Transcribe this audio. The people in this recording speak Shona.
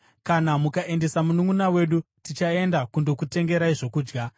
Kana mukaendesa mununʼuna wedu nesu, tichaenda kundokutengerai zvokudya.